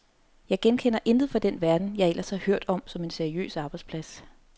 Jeg genkender intet fra den verden, jeg ellers har hørt om som en seriøs arbejdsplads.